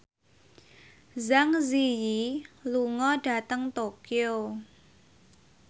Zang Zi Yi lunga dhateng Tokyo